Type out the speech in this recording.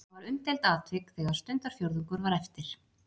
Það var umdeild atvik þegar stundarfjórðungur var eftir.